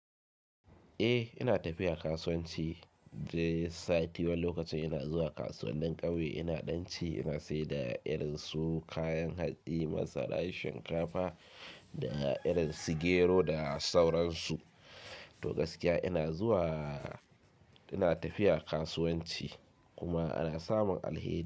Eh ina tafiya kasuwanci, dai sati wani lokacin ina zuwa kasuwannin ƙauye ina ɗan ci, ina sayar da irin su kayan hatsi, masara, shinkafa da irin su gero da sauransu. To gaskiya ina zuwa, ina tafiya kasuwanci kuma ana samun alheri.